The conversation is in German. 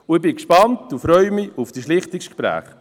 Ich bin gespannt und freue mich auf die Schlichtungsgespräche.